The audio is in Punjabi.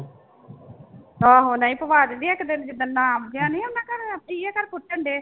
ਆਹੋ ਨਹੀਂ ਪਵਾ ਦਿੰਦੀ ਇੱਕ ਦਿਨ ਜਿੱਦਣ ਨਾਮ ਜਿਹਾ ਨੀ ਉਹਨੇ ਘਰੇ